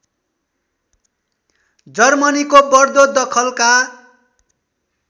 जर्मनीको बढ्दो दखलका